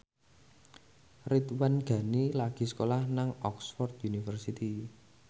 Ridwan Ghani lagi sekolah nang Oxford university